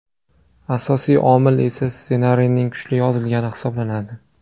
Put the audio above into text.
Asosiy omil esa ssenariyning kuchli yozilgani hisoblanadi.